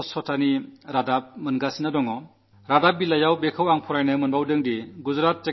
സ്വച്ഛതയുടെ കാര്യത്തിൽ പുതിയ പുതിയ വാർത്തകൾ വരുന്നതാണു ഞാൻ കാണുന്നത്